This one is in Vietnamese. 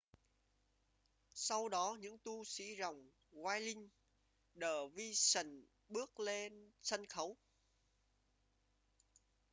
sau đó những tu sĩ dòng whirling dervishes bước lên sân khấu